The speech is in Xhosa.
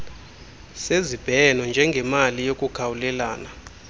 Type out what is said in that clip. sezibheno njengemali yokukhawulelana